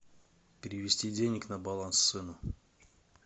перевести денег на баланс сыну